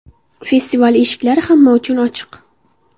Festival eshiklari hamma uchun ochiq.